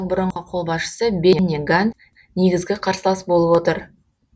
бұрынғы қолбасшысы бенни ганц негізгі қарсылас болып отыр